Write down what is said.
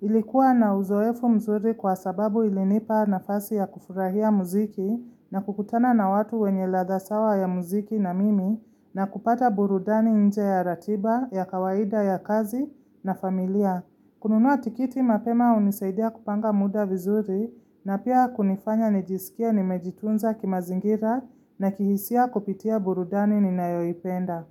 Ilikuwa na uzoefu mzuri kwa sababu ilinipa nafasi ya kufurahia muziki na kukutana na watu wenye ladha sawa ya muziki na mimi na kupata burudani nje ya ratiba, ya kawaida ya kazi na familia. Kununuwa tikiti mapema hunisaidia kupanga muda vizuri na pia kunifanya nijisikie nimejitunza kimazingira na kihisia kupitia burudani ninayoipenda.